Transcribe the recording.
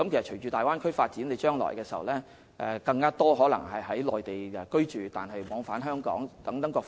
隨着大灣區的發展，將來可能會有更多香港市民在內地居住並往返兩地。